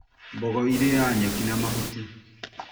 Mbogo iriaga nyeki na mahuti